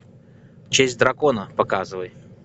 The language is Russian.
честь дракона показывай